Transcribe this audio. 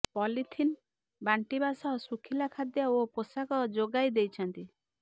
polythene ବାଣ୍ଟିବା ସହ ଶୁଖିଲା ଖାଦ୍ୟ ଓ ପୋଷାକ ଯୋଗାଇ ଦେଇଛନ୍ତି